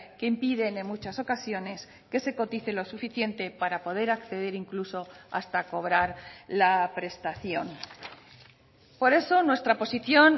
que impiden en muchas ocasiones que se cotice lo suficiente para poder acceder incluso hasta cobrar la prestación por eso nuestra posición